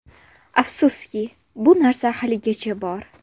Afsuski, bu narsa haligacha bor.